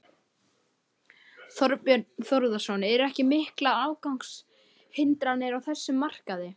Þorbjörn Þórðarson: Eru ekki miklar aðgangshindranir á þessum markaði?